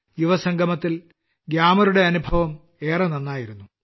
യുവസംഗമത്തിൽ ഗ്യാമറുടെ അനുഭവം ഏറെ നന്നായിരുന്നു